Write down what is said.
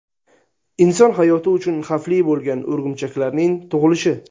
inson hayoti uchun xavfli bo‘lgan o‘rgimchaklarning tug‘ilishi.